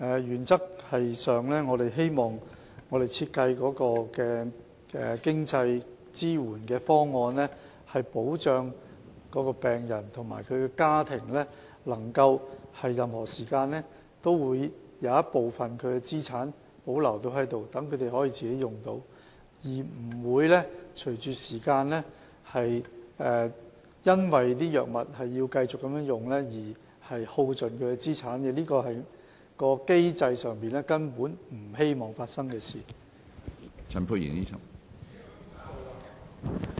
原則上，我們希望所設計的經濟支援方案可確保病人及其家庭在任何時候也能保留部分資產供自己使用，不會隨着時間，由於要繼續購買藥物而耗盡資產，這是在機制上我們不希望會發生的事情。